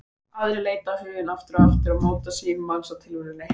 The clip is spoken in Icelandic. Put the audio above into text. Aðrar leita á hugann aftur og aftur og móta sýn manns á tilveruna.